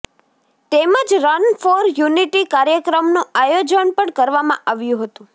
તેમજ run for unity કાર્યક્રમનું આયોજન પણ કરવામાં આવ્યું હતું